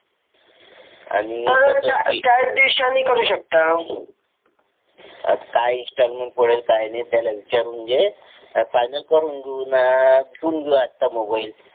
काय इंस्टॉलमेंट पडेल काय नाही त्याला विचारून घे आणि फायनल करून घेऊ घेऊन घेऊ आता मोबाइल